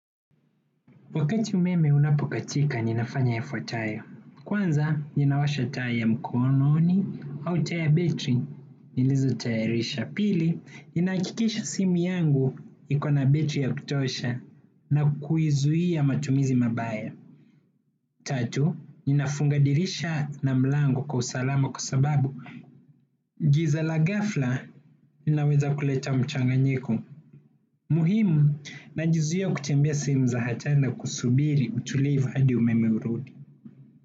Wakati umeme unapokatika ninafanya yafuatayo. Kwanza, ninawasha taa ya mkononi, au taa ya betri, nilizotayarisha. Pili, ninahakikisha simu yangu iko na betri ya kutosha na kuizuia matumizi mabaya. Tatu, ninafunga dirisha na mlango kwa usalama kwa sababu giza la ghafla, linaweza kuleta mchanganyiko. Muhimu najizuia kutembea sehemu za hatari na kusubiri utulivu hadi umeme urudi.